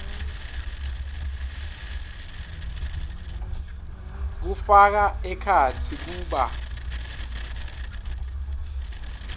kufaka ekhatsi kuba